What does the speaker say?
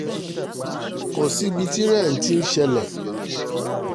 kò sí ibi tí irú rẹ̀ ti ń ṣẹlẹ̀